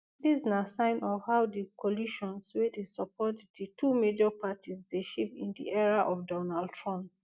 dis na sign of how di coalitions wey dey support di two major parties dey shift in di era of donald trump